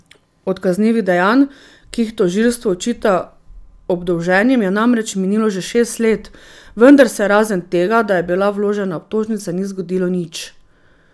Od kaznivih dejanj, ki jih tožilstvo očita obdolženim, je namreč minilo že šest let, vendar se razen tega, da je bila vložena obtožnica, ni zgodilo nič.